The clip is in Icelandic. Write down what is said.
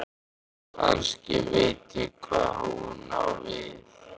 Kannski veit ég hvað hún á við.